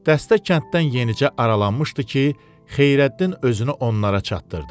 Dəstə kənddən yenicə aralanmışdı ki, Xeyrəddin özünü onlara çatdırdı.